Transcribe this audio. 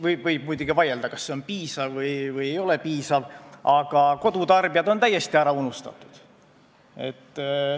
Võib muidugi vaielda, kas see on piisav või ei ole piisav, aga kodutarbijad on täiesti ära unustatud.